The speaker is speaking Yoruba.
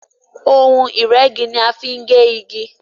Ohun ìrẹ́gi ní a fín gé ìgi.